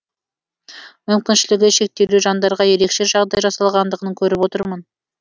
мүмкіншілігі шектеулі жандарға ерекше жағдай жасалғандығын көріп отырмын